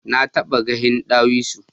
Na taba gahin dawisu.